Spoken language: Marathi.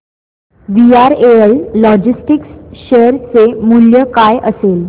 वीआरएल लॉजिस्टिक्स शेअर चे मूल्य काय असेल